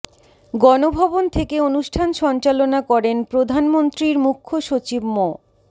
গণভবন থেকে অনুষ্ঠান সঞ্চালনা করেন প্রধানমন্ত্রীর মুখ্য সচিব মো